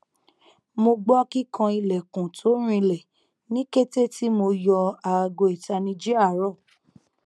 mo gbọ kikan ilẹkun to rinlẹ ni kete ti mo yọ aago itaniji aarọ